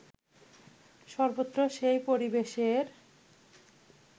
সর্বত্র সেই পরিবেশের